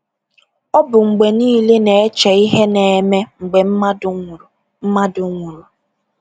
Ọ bụ mgbe niile na-eche ihe na-eme mgbe mmadụ nwụrụ. mmadụ nwụrụ.